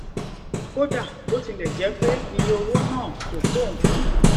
kódà bó tilè jẹ pé iye owó náà kò tó nǹkan